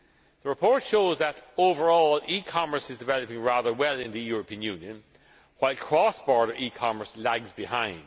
The report shows that, overall, e commerce is developing rather well in the European Union, while cross border e commerce lags behind.